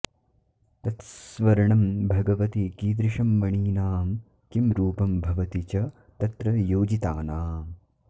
तत्स्वर्णं भगवति कीदृशं मणीनां किं रूपं भवति च तत्र योजितानाम्